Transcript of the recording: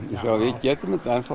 við getum þetta ennþá